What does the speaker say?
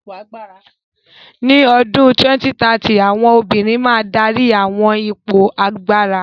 Ní ọdún 2030, àwọn obìnrin máa dárí àwọn ipò agbára.